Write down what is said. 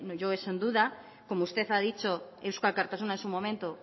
yo eso en duda como usted ha dicho eusko alkartasuna en su momento